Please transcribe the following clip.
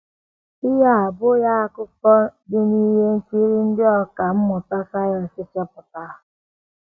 Ihe a abụghị akụkọ um dị n’ihe nkiri ndị ọkà um mmụta sayensị chepụtara.